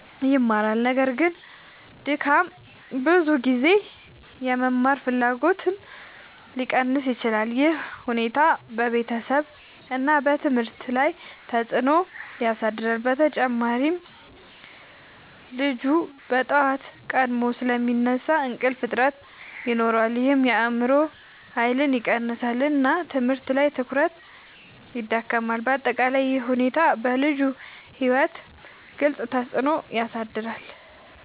ይማራል። ነገር ግን ድካም ብዙ ጊዜ የመማር ፍላጎትን ሊቀንስ ይችላል። ይህ ሁኔታ በቤተሰብ እና ትምህርት ላይ ተጽዕኖ ያሳድራል። በተጨማሪ ልጁ በጠዋት ቀድሞ ስለሚነሳ እንቅልፍ እጥረት ይኖራል ይህም የአእምሮ ኃይልን ይቀንሳል እና ትምህርት ላይ ትኩረት ይዳክማል። በአጠቃላይ ይህ ሁኔታ በልጁ ሕይወት ግልጽ ተፅዕኖ ያሳድራል።